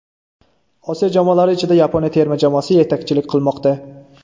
Osiyo jamoalari ichida Yaponiya terma jamoasi yetakchilik qilmoqda.